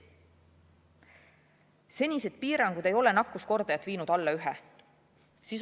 Senised piirangud ei ole nakkuskordajat viinud alla ühe.